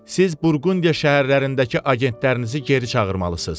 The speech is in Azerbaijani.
siz Burqundiya şəhərlərindəki agentlərinizi geri çağırmalısınız.